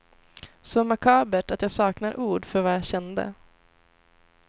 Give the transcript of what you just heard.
Så makabert att jag saknar ord för vad jag kände.